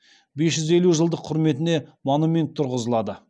бес жүз елу жылдық құрметіне монумент тұрғызылады